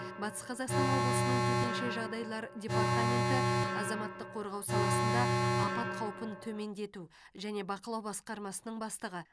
батыс қазақстан облысының төтенше жағдайлар департаменті азаматтық қорғау саласында апат қаупін төмендету және бақылау басқармасының бастығы